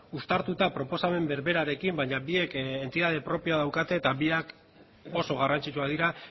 uztartuta proposamen berberarekin baina biek entitate propioa daukate eta biak oso garrantzitsuak dira